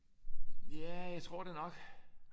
Ja jeg tror det nok